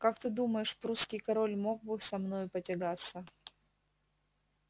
как ты думаешь прусский король мог ли бы со мною потягаться